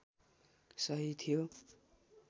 सही थियो